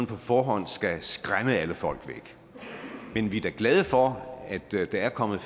på forhånd skal skræmme alle folk væk men vi er da glade for at der er kommet